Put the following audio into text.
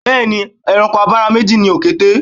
Bẹẹ ni, ẹranko abara méjì ni òkété